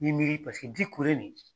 I b'i miiri paseke di kure nin